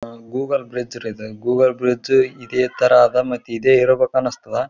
ಅಹ್ Google bridge ರೀ ಇಡುಗೂಗ್ಲೆ bridge ಇದೆ ಥರ ಅದ ಇದೆ ಇರಬೇಕು ಅನ್ಸ್ತಾದ.